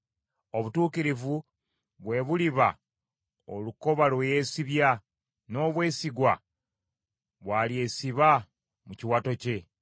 Obutuukirivu, bwe buliba olukoba lwe yeesibya, n’obwesigwa, bw’alyesiba mu kiwato kye.